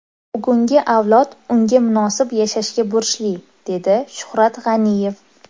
Bugungi avlod unga munosib yashashga burchli”, dedi Shuhrat G‘aniyev.